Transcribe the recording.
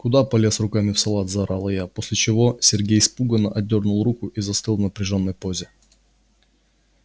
куда полез руками в салат заорала я после чего сергей испуганно отдёрнул руку и застыл в напряжённой позе